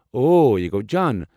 اوو یہٕ گوٚو جان۔